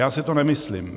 Já si to nemyslím.